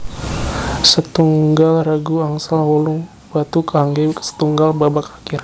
Sètunggal regu angsal wolung batu kanggè sètunggal babak akhir